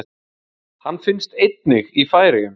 Hann finnst einnig í Færeyjum.